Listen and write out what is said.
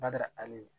Bada ale